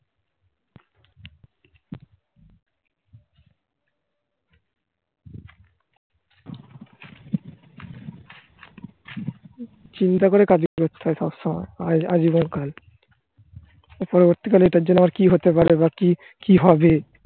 চিন্তা করে কাজ করতে হয় সবসময়? আজীবন পরবর্তীকালে এটার জন্য আবার কি হতে পারে? বা কি? কি হবে?